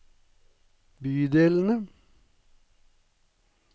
bydelene